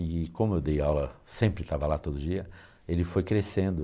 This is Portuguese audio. E como eu dei aula, sempre estava lá todo dia, ele foi crescendo.